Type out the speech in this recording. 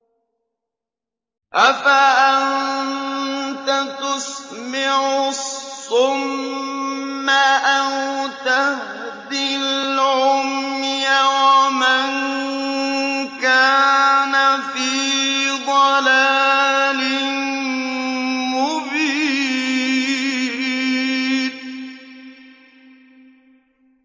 أَفَأَنتَ تُسْمِعُ الصُّمَّ أَوْ تَهْدِي الْعُمْيَ وَمَن كَانَ فِي ضَلَالٍ مُّبِينٍ